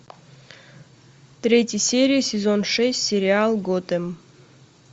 третья серия сезон шесть сериал готэм